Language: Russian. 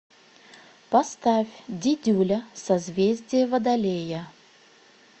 поставь дидюля созвездие водолея